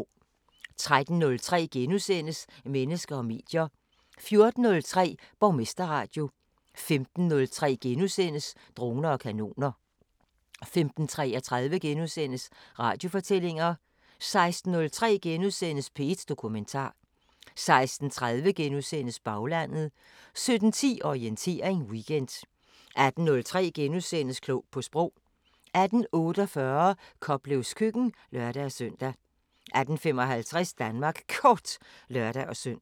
13:03: Mennesker og medier * 14:03: Borgmesterradio 15:03: Droner og kanoner * 15:33: Radiofortællinger * 16:03: P1 Dokumentar * 16:30: Baglandet * 17:10: Orientering Weekend 18:03: Klog på Sprog * 18:48: Koplevs køkken (lør-søn) 18:55: Danmark Kort (lør-søn)